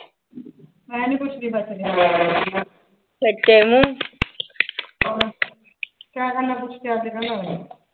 ਮੈਂ ਨੀਂ ਪੁੱਛਦੀਬਸ ਰਹਿੰਣ ਦੇ ਕਿਆ ਕਰਨਾ ਪੁੱਛ ਕੇ